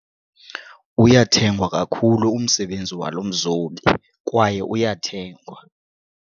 Uyathengwa kakhulu umsebenzi walo mzobi kwaye uyathengwa.